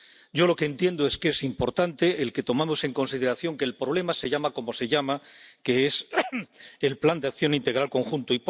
Yo lo que entiendo es que es importante que tomemos en consideración que el problema se llama como se llama, que es el Plan de Acción Integral Conjunto.